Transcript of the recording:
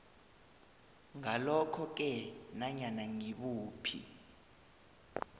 ngalokhoke nanyana ngibuphi